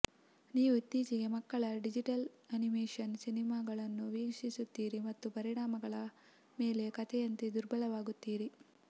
ನೀವು ಇತ್ತೀಚಿನ ಮಕ್ಕಳ ಡಿಜಿಟಲ್ ಅನಿಮೇಶನ್ ಸಿನೆಮಾಗಳನ್ನು ವೀಕ್ಷಿಸುತ್ತೀರಿ ಮತ್ತು ಪರಿಣಾಮಗಳ ಮೇಲೆ ಕಥೆಯಂತೆ ದುರ್ಬಲರಾಗುತ್ತೀರಿ